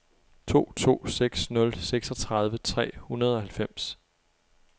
to to seks nul seksogtredive tre hundrede og halvfems